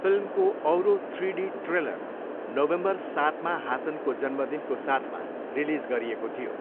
फिल्मको औरो three D trailer November सातमा हासनको जन्मदिनको साथमा रिलिज गरिएको थियो।